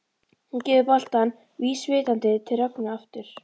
Hún gefur boltann vísvitandi til Rögnu aftur.